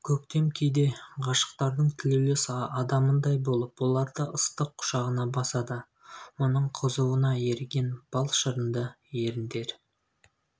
көктем кейде ғашықтардың тілеулес адамындай болып оларды ыстық құшағына басады оның қызуына еріген бал шырынды еріндер